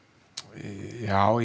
já